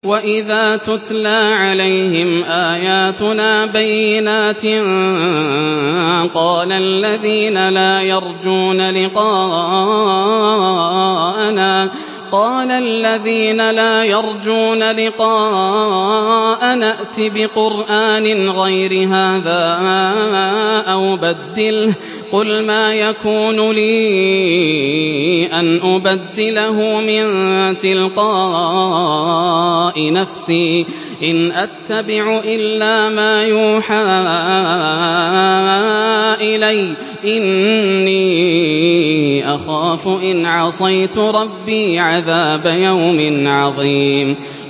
وَإِذَا تُتْلَىٰ عَلَيْهِمْ آيَاتُنَا بَيِّنَاتٍ ۙ قَالَ الَّذِينَ لَا يَرْجُونَ لِقَاءَنَا ائْتِ بِقُرْآنٍ غَيْرِ هَٰذَا أَوْ بَدِّلْهُ ۚ قُلْ مَا يَكُونُ لِي أَنْ أُبَدِّلَهُ مِن تِلْقَاءِ نَفْسِي ۖ إِنْ أَتَّبِعُ إِلَّا مَا يُوحَىٰ إِلَيَّ ۖ إِنِّي أَخَافُ إِنْ عَصَيْتُ رَبِّي عَذَابَ يَوْمٍ عَظِيمٍ